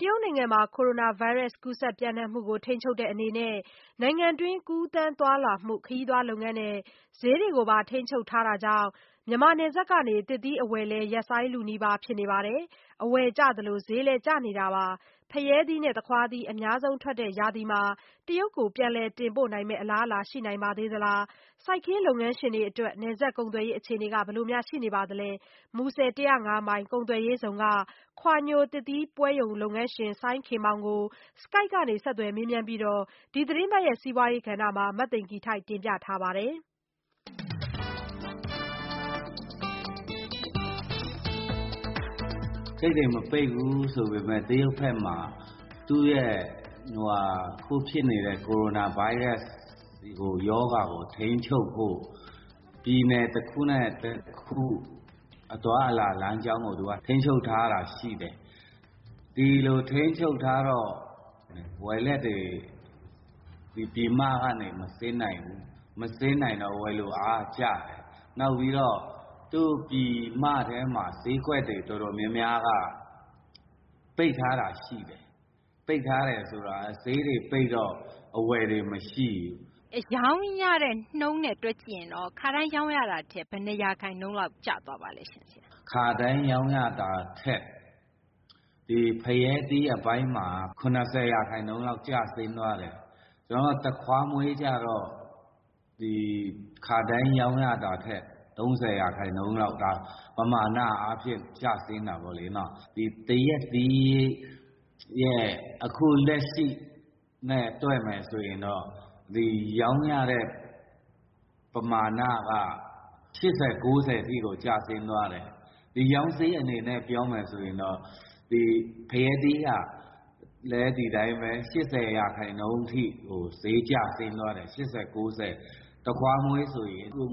တရုတ်နိုင်ငံမှာ ကိုရိုနာဗိုင်းရပ်စ် ကူးစက် ပျံ့နှံ့မှုကို ထိန်းချုပ်တဲ့ အနေနဲ့ နိုင်ငံတွင်း ကူးသန်းသွားလာမှု၊ ခရီးသွား လုပ်ငန်းနဲ့ ဈေးတွေကိုပါ ထိန်းချုပ်ထားတာကြောင့် မြန်မာ နယ်စပ်ကနေ သစ်သီး အဝယ်လည်း ရပ်ဆိုင်းလုနီးပါး ဖြစ်နေပါတယ်။ အဝယ်ကျသလို ဈေးလည်းကျနေတာပါ။ ဖရဲသီးနဲ့ သခွားသီး အများဆုံး ထွက်တဲ့ ရာသီမှာ တရုတ်ကို ပြန်လည် တင်ပို့နိုင်မယ့် အလားအလာ ရှိနိုင်ပါသေးသလား၊ စိုက်ခင်း လုပ်ငန်းရှင်တွေ အတွက် နယ်စပ်ကုန်သွယ်ရေး အခြေအနေ ဘယ်လို ရှိနေပါသလဲ။ မူဆယ် ၁၀၅ မိုင် ကုန်သွယ်ရေးဇုံက ခွာညိုသစ်သီးပွဲရုံ လုပ်ငန်းရှင် စိုင်းခင်မောင် ကို Skype ကနေ ဆက်သွယ်မေးမြန်းပြီး ဒီသီတင်းပတ် စီးပွားရေး ကဏ္ဍမှာ မသိင်္ဂ ီထိုက် တင်ပြထားပါတယ်။ ဂိတ်တွေ မပိတ်ဘူးဆိုပေမယ့် တရုတ်ဘက်မှာ အခု ဖြစ်နေတဲ့ ကိုရိုနာဗိုင်းရပ်စ် ဒီ ရောဂါကို ထိန်းချုပ်ဖို့ ပြည်နယ် တခုနဲ့ တခု အသွားအလာ လမ်းကြောင်းကို သူက ထိန်းချုပ်ထားတာ ရှိတယ်။ ဒီလို ထိန်းချုပ်ထားတော့ ဝယ်လက်တွေ ဒီ ပြည်မကနေ မဆင်းနိုင်ဘူး။ မဆင်းနိုင်တော့ ဝယ်လိုအားက ကျတယ်။ နောက်ပြီးတော့ သူ့ ပြည်မထဲမှာ ဈေးကွက်တွေ တော်တော်များများက ပိတ်ထားတာ ရှိတယ်။ ပိတ်ထားတယ် ဆိုတာ ဈေးတွေပိတ်တော့ အဝယ်တွေ မရှိဘူး။ ရောင်းရတဲ့ နှုန်းနဲ့ တွက်ကြည့်ရင်တော့ ခါတိုင်း ရောင်းရတာထက် ဘယ်နှ ရာခိုင်နှုန်းလောက် ကျသွားပါလဲရှင့်။ ခါတိုင်း ရောင်းရတာထက် ဒီ ဖရဲသီး အပိုင်းမှာ ၇၀ ရာခိုင်နှုန်းလောက် ကျဆင်းသွားတယ်။ ကျနော်တို့ ဒီ သခွားမွှေးကျတော့ ခါတိုင်း ရောင်းရတာထက် ၃၀ ရာခိုင်နှုန်းလောက် ပမာဏ အားဖြင့် ကျဆင်းတာပေါ့လေနော်။ သရက်သီးရဲ့ အခုလက်ရှိနဲ့ တွက်မယ်ဆိုရင်တော့ ဒီ ရောင်းရတဲ့ ပမာဏက ၈၀ -၉၀ ရာခိုင်နှုန်းထိကို ကျဆင်းသွားတယ်။ ဒီရောင်းဈေး အနေနဲ့ ပြောမယ်ဆိုရင်တော့ ဒီ ဖရဲသီးကလည်း ဒီတိုင်းဘဲ ၈၀ ရာခိုင်နှုန်းထိကို ဈေးကျဆင်းသွားတယ်။ သခွားမွှေး ဆိုရင် ၅၀